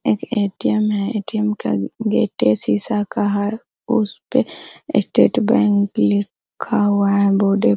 एक ए.टी.एम. है ए.टी.एम. का गेट शीशा का है उसपे स्टेट बैंक लिखा हुआ है बोर्डे --